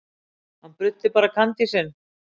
Hann bruddi bara kandísinn.